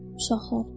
Uşaqlar!